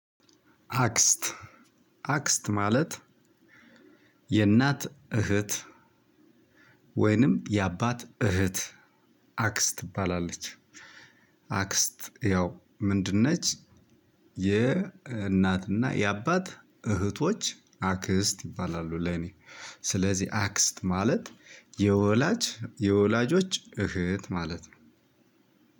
አክስት አክስት ማለት የእናት እህት ወይንም የአባት እህት አክስት ትባላለች። አክስት ያው ምንድን ነች የእናትና የአባት እህቶች አክስት ይባላሉ ለኔ ስለዚህ አክስት ማለት የወላጅ የወላጆች እህት ማለት ነው።